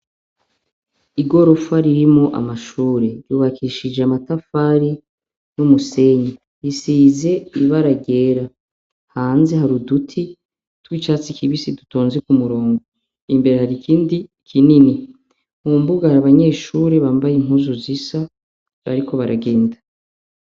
Igorofa ririmwo amashure. Ryubakishijwe amatafari n’umusenyi. Isize ibara ry’igera. Hanze hari ududuti tw’icatsi kibisi dutonze ku murongo. Imbere y’ikindi kinini. Mumbuga hari abanyeshure bambaye impuzu zisa bariko baragenda.